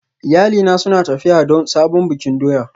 Iyalina suna tafiya don sabon bikin doya